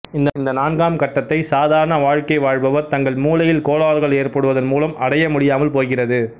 இந்த நான்காம் கட்டத்தை சாதாரண வாழ்கை வாழ்பவர் தங்கள் மூளையில் கோளாறுகள் ஏற்படுவதன் மூலம் அடைய முடியாமல் போகிறது